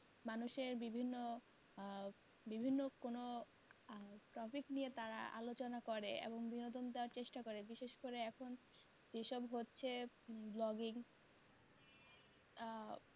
মানুষের বিভিন্ন আহ বিভিন্ন কোনো আহ tropic নিয়ে তারা আলোচনা করে এবং বিনোদন দেওয়ার চেষ্টা করে বিশেষ করে এখন যেসব হচ্ছে vlogging আহ